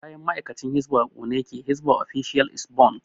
Kayan ma'aikacin hisban a ƙone yake hisba official is burnt